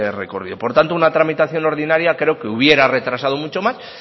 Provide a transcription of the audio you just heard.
recorrido por tanto una tramitación ordinaria creo que hubiera retrasado mucho más